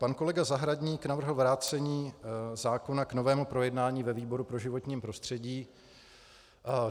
Pan kolega Zahradník navrhl vrácení zákona k novému projednání ve výboru pro životní prostředí.